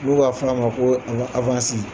N'u b'a f'a ma koo an ŋa .